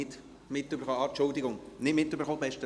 Ich hatte es nicht mitbekommen.